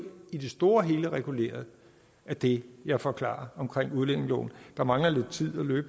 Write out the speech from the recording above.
i det store og hele er reguleret af det jeg forklarede om udlændingeloven der mangler